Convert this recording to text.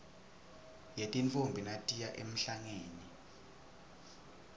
yetintfombi natiya emhlangeni